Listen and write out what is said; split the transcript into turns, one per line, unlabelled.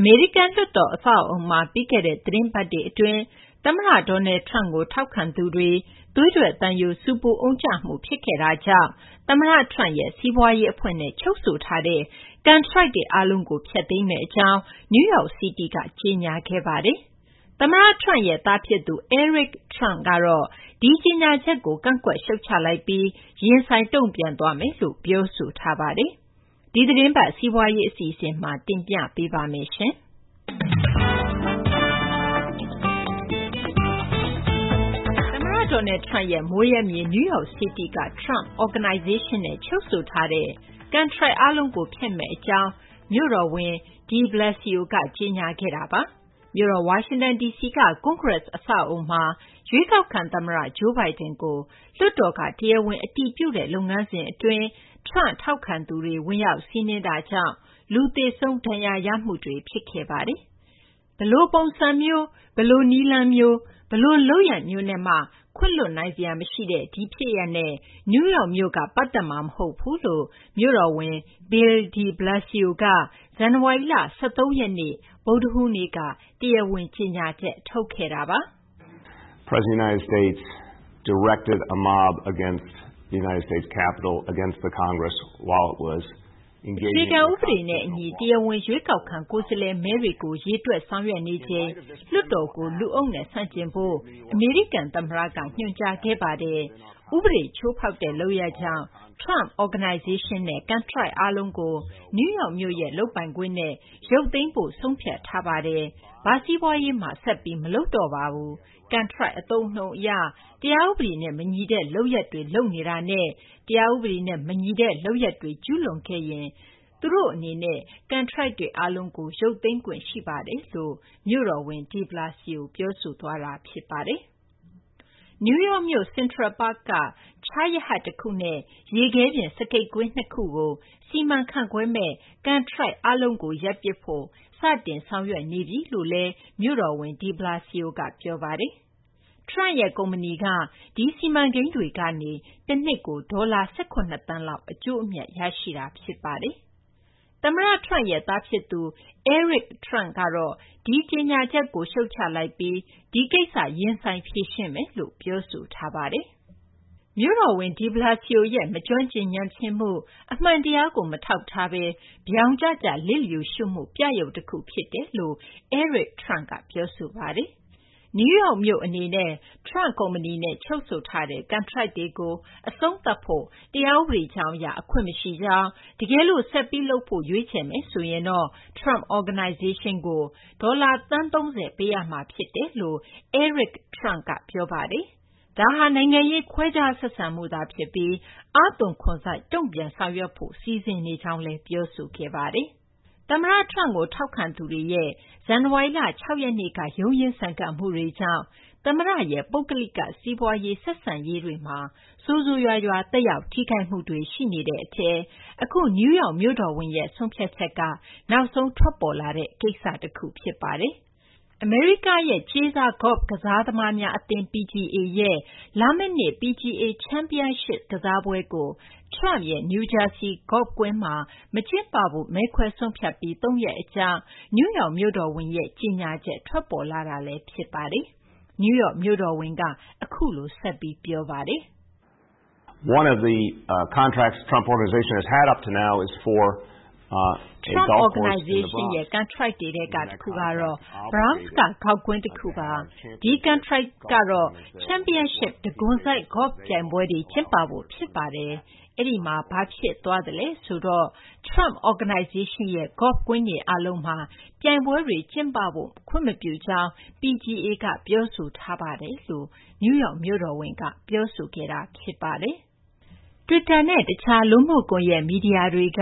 အမေရိကန် လွှတ်တော် အဆောက်အအုံမှာ ပြီးခဲ့တဲ့ သီတင်းပတ်တွေအတွင်း သမ္မတ Donald Trump ကို ထောက်ခံသူတွေကြောင့် သွေးထွက်သံယို ဆူပူအုံကြွမှုတွေ ဖြစ်ခဲ့တာကြောင့် သမ္မတ Trump ရဲ့ စီးပွားရေး အဖွဲ့နဲ့ ချုပ်ဆိုထားတဲ့ ကန်ထရိုက်တွေ အားလုံးကို ဖျက်သိမ်းမယ့် အကြောင်း New York City က ကြေညာခဲ့ပါတယ်။ သမ္မတ Trump ရဲ့ သားဖြစ်သူ Eric Trump ကတော့ ဒီကြေညာချက်ကို ကန့်ကွက် ရှုတ်ချလိုက်ပြီး ရင်ဆိုင် တုံ့ပြန်သွားမယ်လို့ ပြောဆိုထားပါတယ်။ ဒီသီတင်းပတ် စီးပွားရေး အစီအစဉ်မှာ မသိင်္ဂ ီထိုက် တင်ပြထားပါတယ်။ သမ္မတ Donald Trump ရဲ့ မွေးရပ်မြေ New York City က Trump Organization နဲ့ ချုပ်ဆိုထားတဲ့ ကန်ထရိုက်အားလုံးကို ဖျက်မယ့် အကြောင်း မြို့တော်ဝန် De Blasio က ကြေညာခဲ့တာပါ။ မြို့တော်ဝါရှင်တန် ဒီစီက ကွန်ဂရက် အဆောက်အအုံမှာ ရွေးကောက်ခံ သမ္မတ Joe Biden ကို လွှတ်တော်က တရားဝင် အတည်ပြုတဲ့ လုပ်ငန်းစဉ် အတွင်း Trump ထောက်ခံသူတွေ ဝင်ရောက်စီးနင်းတာကြောင့် လူသေဆုံး ဒဏ်ရာရမှုတွေထိ ဖြစ်ခဲ့တာပါ။ ဒီဖြစ်ရပ်ဟာဆိုရင် ဘယ်လိုပုံစံမျိုး၊ ဘယ်လို နည်းလမ်းမျိုး၊ ဘယ်လို လုပ်ရပ်မျိုးနဲ့မှ ခွင့်လွှတ်နိုင်စရာ မရှိတဲ့ လုပ်ရပ်တွေနဲ့ New York မြို့က ပတ်သက်မှာ မဟုတ်ဘူးလို့ မြို့တော်ဝန် Bill de Blasio က ဇန်နဝါရီလ ၁၃ ရက်နေ့ ဗုဒ္ဓဟူးနေ့က တရားဝင် ကြေညာချက် ထုတ်ခဲ့တာပါ။ " အခြေခံ ဥပဒေနဲ့ အညီ တရားဝင် ရွေးကောက်ခံ ကိုယ်စားလှယ်မဲတွေကို ရေတွက် ဆောင်ရွက်နေချိန် လွှတ်တော်ကို လူအုပ်နဲ့ ဆန့်ကျင်ဖို့ အမေရိကန် သမ္မတက ညွှန်ကြားခဲ့ပါတယ်။ ဥပဒေ ချိုးဖောက်တဲ့ လုပ်ရပ်ကြောင့် Trump Organization နဲ့ ကန်ထရိုက် အားလုံးကို နယူးယောက် မြို့ရဲ့ လုပ်ပိုင်ခွင့်နဲ့ ရုပ်သိမ်းဖို့ ဆုံးဖြတ်ထားပါတယ်။ ဘာစီးပွားရေးမှ ဆက်ပြီး မလုပ်တော့ပါဘူး။ ကန်ထရိုက် အသုံးအနှုန်း အရ တရားဥပဒေနဲ့ မညီတဲ့ လုပ်ရပ်တွေ လုပ်နေတာနဲ့ တရားဥပဒေနဲ့ မညီတဲ့ လုပ်ရပ်တွေ ကျူးလွန်ခဲ့ရင် ကျနော်တို့ အနေနဲ့ ကန်ထရိုက်တွေကို ရုပ်သိမ်းခွင့်ရှိပါတယ်။ " နယူးယောက်မြို့ Central Park က ချားရဟတ် တခုနဲ့ ရေခဲပြင် စကိတ်ကွင်း ၂ ခုကို စီမံခန့်ခွဲမယ့် ကန်ထရိုက် အားလုံးကို ရပ်ပစ်ဖို့ စတင်ဆောင်ရွက်နေပြီလို့လည်း မြို့တော်ဝန် De Balsio က ပြောပါတယ်။ Trump ရဲ့ ကုမ္ပဏီက ဒီစီမံကိန်းတွေကနေ တနှစ်ကို ဒေါ်လာ ၁၇ သန်းလောက် အကျိုးအမြတ် ရရှိနေတာ ဖြစ်ပါတယ်။ သမ္မတ Trump ရဲ့ သားဖြစ်သူ Eric Trump ကတော့ ဒီ ကြေညာချက်ကို ရှုတ်ချလိုက်ပြီး ဒီကိစ္စ ရင်ဆိုင်ဖြေရှင်းမယ်လို့ ပြောဆိုလိုက်ပါတယ်။ မြို့တော်ဝန် de Blasio ရဲ့ မကျွမ်းကျင် ညံ့ဖျင်းမှု၊ အမှန်တရားကို မထောက်ထားဘဲ ဗြောင်ကျကျ လစ်လျူရှုမှု ပြယုဂ်တခု ဖြစ်တယ်လို့ Eric Trump က ပြောဆိုပါတယ်။ New York မြို့ အနေနဲ့ Trump ကုမ္ပဏီနဲ့ ချုပ်ဆိုထားတဲ့ ကန်ထရိုက်တွေကို အဆုံးသတ်ဖို့ တရားဥပဒေကြောင်း အရ အခွင့်မရှိကြောင်း၊ တကယ်လို့ ဆက်ပြီး လုပ်ဖို့ ရွေးချယ်မယ်ဆိုရင်တော့ Trump Organization ကို ဒေါ်လာ သန်း ၃၀ ပေးရမှာ ဖြစ်တယ်လို့လည်း Eric Trump က ပြောပါတယ်။ ဒါဟာ နိုင်ငံရေး ခွဲခြားဆက်ဆံမှုသာ ဖြစ်ပြီး အားသွန်ခွန်စိုက် တုံ့ပြန်ဆောင်ရွက်ဖို့ စီစဉ်နေကြောင်းလည်း ပြောဆိုခဲ့ပါတယ်။ သမ္မတ Trump ကို ထောက်ခံသူတွေရဲ့ ဇန်နဝါရီလ ၆ ရက်နေ့ က ရုန်းရင်းဆန်ခတ်မှုကြောင့် သမ္မတရဲ့ ပုဂ္ဂလိက စီးပွားရေး ဆက်ဆံမှုတွေမှာ ဆိုးဆိုးရွားရွား သက်ရောက် ထိခိုက်မှုတွေရှိနေတဲ့ အထဲ နယူးယောက် မြို့တော်ဝန်ရဲ့ ဆုံးဖြတ်ချက်က နောက်ဆုံးထွက်လာတဲ့ကိစ္စ တခု ဖြစ်ပါတယ်။ အမေရိကရဲ့ ကြေးစား ဂေါ့ဖ်ကစားသမားများ အသင်း PGA ရဲ့ လာမယ့်နှစ် PGA Championship ကစားပွဲကို Trump ရဲ့ နယူးဂျာဆီ ဂေါ့ဖ်ကွင်းမှာ မကျင်းပဖို့ မဲခွဲဆုံးဖြတ်ပြီး ၃ ရက် အကြာမှာ New York မြို့တော်ဝန်ရဲ့ ကြေညာချက် ထွက်ပေါ်လာတာ ဖြစ်ပါတယ်။ " Trump Organization ရဲ့ ကန်ထရိုက်တွေထဲက တခုကတော့ Bronx က ဂေါဖ့်ကွင်း တခုပါ၊ ဒီကန်ထရိုက်ကတော့ Championship တံခွန်စိုက် ဂေါဖ့် ပြိုင်ပွဲတွေ ကျင်းပဖို့ ဖြစ်ပါတယ်။ အဲဒီမှာ ဘာဖြစ်သွားသလဲ ဆိုတော့ Trump Organization ရဲ့ ဂေါဖ့်ကွင်းတွေ အားလုံးမှာ သူတို့ ပြိုင်ပွဲတွေ ကျင်းပဖို့ ခွင့်မပြုကြောင်း PGA က ပြောဆိုထားပါတယ်။" Twitter နဲ့ တခြား လူမှုကွန်ရက် မီဒီယာတွေက